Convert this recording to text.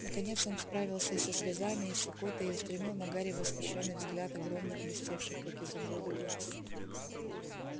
наконец он справился и со слезами и с икотой и устремил на гарри восхищённый взгляд огромных блестевших как изумруды глаз